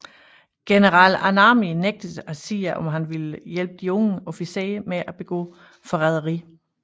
General Anami nægtede at sige om han ville hjælpe de unge officerer med at begå forræderi